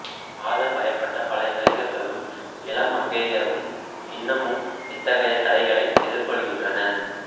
காதல் வயப்பட்ட பல இளைஞர்களும் இளமங்கையரும் இன்னமும் இத்தகையத் தடைகளை எதிர்கொள்கின்றனர்